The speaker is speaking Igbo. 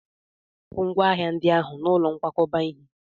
Hapụ ngwá hnahịndị ahụ n'ụlọ nkwakọba ihe!